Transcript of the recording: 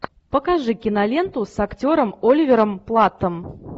покажи киноленту с актером оливером платтом